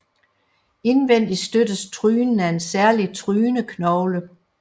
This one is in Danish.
Indvendig støttes trynen af en særlig tryneknogle